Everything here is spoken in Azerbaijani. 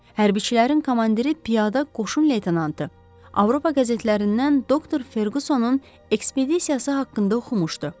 Hərbçilərin komandiri piyada qoşun leytanı Avropa qəzetlərindən doktor Ferqusonun ekspediyası haqqında oxumuşdu.